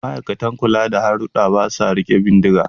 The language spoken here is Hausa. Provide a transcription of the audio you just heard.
Ma'aikatan kula da hadurra ba sa riƙe bindiga